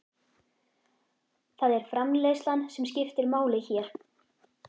Það er framreiðslan sem skiptir máli hér.